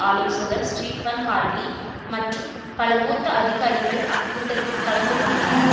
ஆலோசகர் Stephen Hadley மற்றும் பல மூத்த அதிகாரிகள் அக்கூட்டத்தில் கலந்து கொண்டனர்